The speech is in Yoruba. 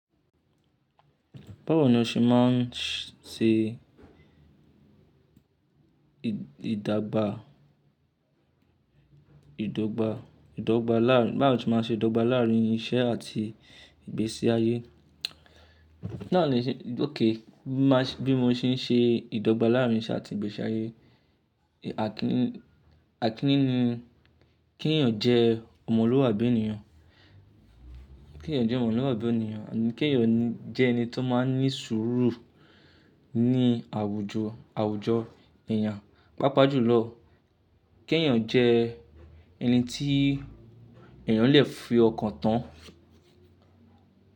Báwo ni o ṣe máa ń ṣe ìdàgbà, ìdọ́gba, ìdọ́gba láàrín, báwo ni o ṣe máa ń ṣe ìdọ́gba láàrín iṣẹ́ àti ìgbésí ayé? Náà ni, ok, bí mo ṣe ń ṣe ìdọ́gba láàrín iṣẹ́ àti ìgbésí ayé. Àkíni, àkíni ni, kí èèyàn jẹ́ ọmọlúwàbí ènìyàn. Kí èèyàn jẹ́ ọmọlúwàbí ènìyàn, kí èèyàn jẹ́ ẹni tó máa ń ní sùúrù ní àwùjọ, àwùjọ èèyàn. Paápá jù lọ, kí èèyàn jẹ́ ẹni tí èèyàn lè fi ọkàn tán.